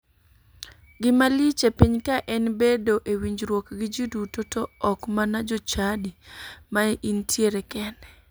Gimalich e piny ka en bedo e winjruok gi ji duto to ok mana jochadi ma intiere kende.